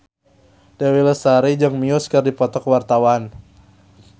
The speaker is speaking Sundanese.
Dewi Lestari jeung Muse keur dipoto ku wartawan